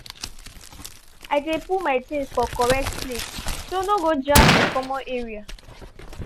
i dey put my things for correct place so no go jam di common area